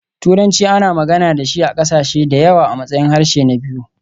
Turanci ana magana da shi a ƙasashe da yawa a matsayin harshe na biyu.